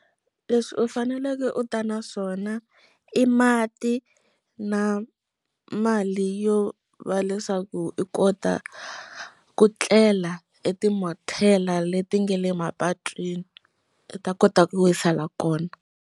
Leswi u faneleke u ta na swona i mati na mali yo va leswaku i kota ku tlela eti mortel leti nga le mapatwini u ta kota ku wisela kona.